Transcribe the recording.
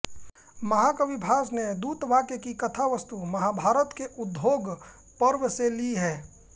महाकवि भास ने दूतवाक्य की कथावस्तु महाभारत के उद्योग पर्व से ली है